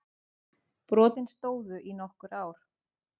Brotin stóðu í nokkur ár